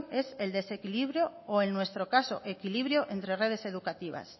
es el desequilibrio o en nuestro caso equilibrio entre redes educativas